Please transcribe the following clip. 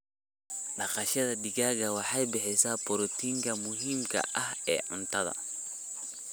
Dhaqashada digaaga waxay bixisaa borotiinka muhiimka ah ee cuntada.